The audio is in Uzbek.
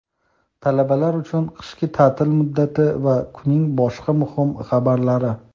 talabalar uchun qishki ta’til muddati va kunning boshqa muhim xabarlari.